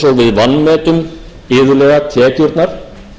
vanmetum iðulega tekjurnar þegar